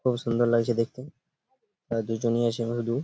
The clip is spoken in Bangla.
খুব সুন্দর লাগছে দেখতে তারা দুজনই আছে এর মধ্যে।